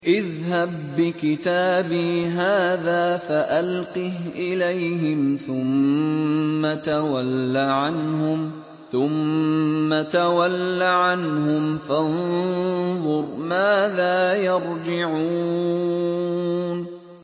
اذْهَب بِّكِتَابِي هَٰذَا فَأَلْقِهْ إِلَيْهِمْ ثُمَّ تَوَلَّ عَنْهُمْ فَانظُرْ مَاذَا يَرْجِعُونَ